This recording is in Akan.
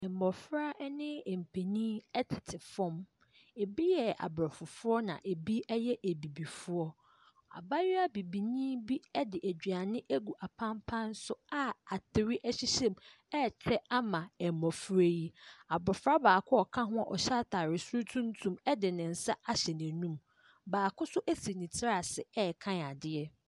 Mmɔfra ne mpanin tete fam. Ebi yɛ aborɔfo na ebi yɛ abibifoɔ. Abayewa bibini bi de aduane gu apampan so a atere hyehyɛ mu rekyɛ ama mmɔfra yi. Abɔfra baako a ɔka ho a ɔhyɛ atare soro tuntum de ne nsa ahyɛ n'anum. Baako nso asi ne tiri ase rekan adeɛ.